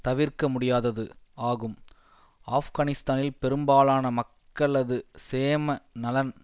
தவிர்க்க முடியாதது ஆகும் ஆப்கானிஸ்தானில் பெரும்பாலான மக்களது சேம நலன்